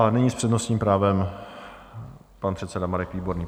A nyní s přednostním právem pan předseda Marek Výborný.